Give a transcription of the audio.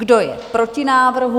Kdo je proti návrhu?